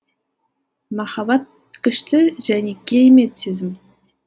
махаббат күшті және керемет сезім